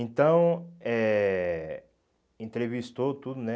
Então, eh entrevistou tudo, né?